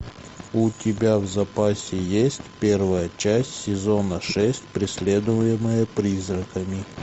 у тебя в запасе есть первая часть сезона шесть преследуемые призраками